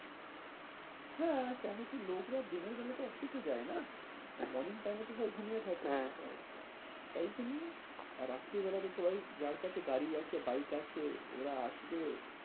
হ্যাঁ কেন কি লোকরা দিনের বেলা তো আসতে তো চায় না। ওই morning time এ সবই ঘুমিয়ে থাকে। হ্যাঁ হ্যাঁ তাই জন্য আর রাত্রিবেলা তো সবাই যার কাছে গাড়ি আছে bike আছে সে ওরা আসবে।